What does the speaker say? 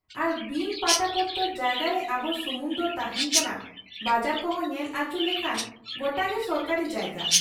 ᱟᱨ ᱵᱤᱱ ᱯᱟᱴᱟ ᱯᱚᱛᱚᱨ ᱡᱟᱭᱜᱟᱨᱮ ᱟᱵᱚ ᱥᱩᱢᱩᱝ ᱫᱚ ᱛᱟᱦᱮᱸᱱ ᱠᱟᱱᱟ, ᱵᱟᱡᱟᱨ ᱠᱚᱦᱚᱸ ᱧᱮᱞ ᱟᱹᱪᱩᱨ ᱞᱮᱠᱷᱟᱱ ᱜᱚᱴᱟᱜᱮ ᱥᱚᱨᱠᱟᱨᱤ ᱡᱟᱭᱜᱟ ᱾